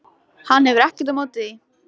Hann hefur ekkert á móti því.